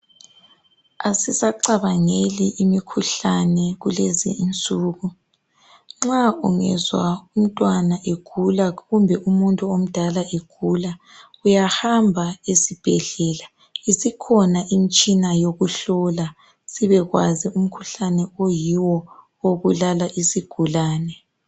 Asisacabangeli imikhuhlane kulezi insuku. Nxa ungezwa umntwana egula kumbe umuntu omdala egula ,uyahamba esibhedlela isikhona imitshina yokuhlola sibekwazi umkhuhlane oyiwo obulala isigulane.